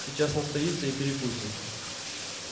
сейчас настоится и перекусим